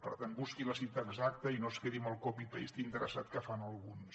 per tant busqui la cita exacta i no es quedi amb el copy paste interessat que fan alguns